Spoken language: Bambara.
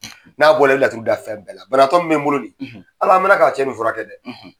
N'a bɔ la i bɛ laturu da fɛn bɛɛ la banabagatɔ min bɛ n bolo in Ala la an mɛn na ka cɛ in furakɛ dɛ.